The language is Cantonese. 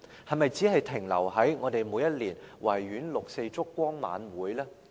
是否只是停留在我們每年於維園舉行六四燭光晚會呢？